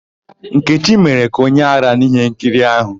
Nkechi mere ka onye árá n'íhénkiri áhụ̀.